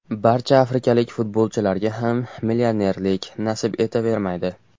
Barcha afrikalik futbolchilarga ham millionerlik nasib etavermaydi.